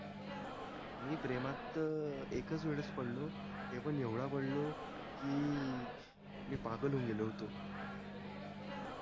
मी प्रेमात त अं एकच वेळेत पडलो ते पण येवडा पडलो कि मी पागल होऊन गेलो होतो